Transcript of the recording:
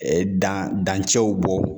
dan dancɛw bɔ